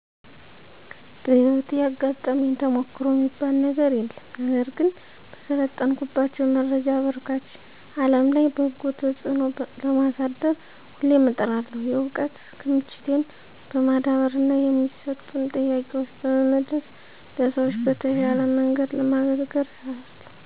በህይወቴ ያጋጠመኝ ተሞክሮ የሚባል ነገር የለም። ነገር ግን፣ በሰለጠንኩባቸው የመረጃ አበርካች አለም ላይ በጎ ተጽዕኖ ለማሳደር ሁሌም እጥራለሁ። የእውቀት ክምችቴን በማዳበርና የሚሰጡን ጥያቄዎች በመመለስ ለሰዎች በተሻለ መንገድ ለማገልገል እሰራለሁ።